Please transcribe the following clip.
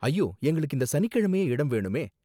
ஐயோ, எங்களுக்கு இந்த சனிக்கிழமயே இடம் வேணுமே.